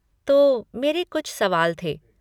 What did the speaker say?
तो मेरे कुछ सवाल थे।